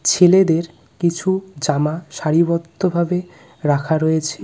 ছেলেদের কিছু জামা সারিবদ্ধভাবে রাখা রয়েছে .